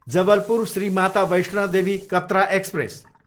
Jabalpur, Shri Mata Vaishno Devi Katra express